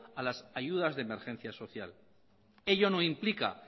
a las ayudas de emergencia social ello no implica